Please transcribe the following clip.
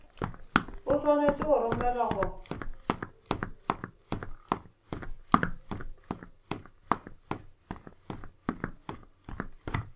o swanetše go romelwa go